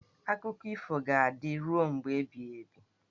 Akụkọ ifo ga-adịru mgbe ebighị ebi.